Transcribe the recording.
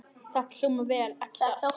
Þetta hljómar vel, ekki satt?